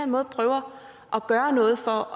måde prøver at gøre noget for